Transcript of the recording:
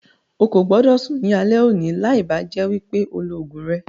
Ó kó gbọ́dọ̀ sún ní alẹ́ òní láì bá jẹ́ wípé o lọ ogún rẹ.